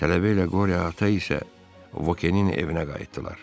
Tələbə ilə qore ata isə Vokenin evinə qayıtdılar.